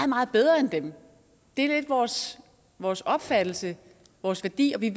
meget bedre end dem det er lidt vores vores opfattelse vores værdi og vi